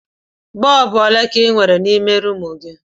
Bọlbụ ole ka ị nwere n'ime rumụ ahụ?